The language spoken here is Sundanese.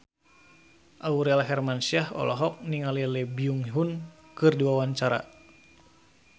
Aurel Hermansyah olohok ningali Lee Byung Hun keur diwawancara